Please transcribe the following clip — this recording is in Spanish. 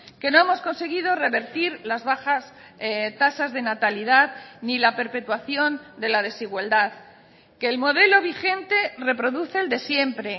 que no hemos conseguido revertir las bajas tasas de natalidad ni la perpetuación de la desigualdad que el modelo vigente reproduce el de siempre